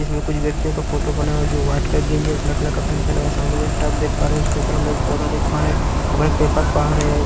इसमें कुछ व्यक्तियों का फोटो बना हुआ है जो वाइट कलर और ब्लैक कलर का पैंट बना हुआ है सामने में एक टब देख पा रहे हैं उसके ऊपर हम लोग एक पौधा देख पा रहे हैं --